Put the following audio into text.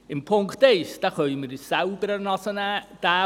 In Bezug auf die Ziffer 1 können wir uns selbst an der Nase nehmen.